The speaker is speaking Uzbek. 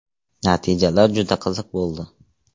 Natijalar juda qiziq bo‘ldi.